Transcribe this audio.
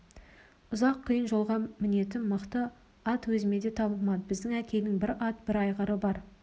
ұзақ қиын жолға мінетін мықты ат өзіме де табылмады біздің әкейдің бір ат бір айғыры бар